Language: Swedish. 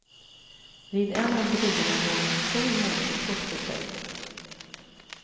Vid en av bryggorna låg en stor motorbåt förtöjd.